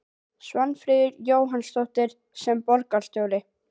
Svanfríður Jónsdóttir: Sem borgarstjóri?